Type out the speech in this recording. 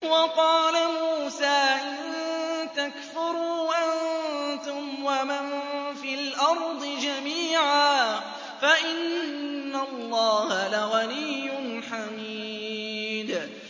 وَقَالَ مُوسَىٰ إِن تَكْفُرُوا أَنتُمْ وَمَن فِي الْأَرْضِ جَمِيعًا فَإِنَّ اللَّهَ لَغَنِيٌّ حَمِيدٌ